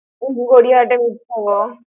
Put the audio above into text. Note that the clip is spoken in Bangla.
গড়িয়াহাটে।